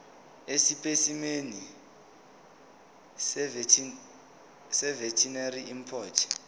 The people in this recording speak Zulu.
esipesimeni seveterinary import